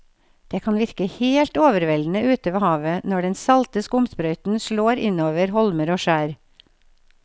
Det kan virke helt overveldende ute ved havet når den salte skumsprøyten slår innover holmer og skjær.